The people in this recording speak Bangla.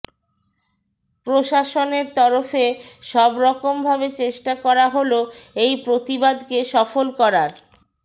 প্রশাসনের তরফে সবরকম ভাবে চেষ্টা করা হল এই প্রতিবাদকে সফল করার